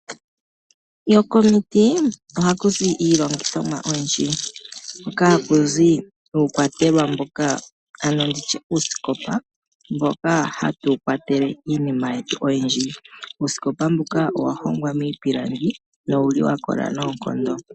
Komiti ohazi iilongithomwa oyindji . Hakuzi iikwatelwa ano uusikopa mboka hatu kwatele iinima yetu oyindji . Uusikopa mbuka owa hongwa miipilangi no wuli wa kola noonkondo .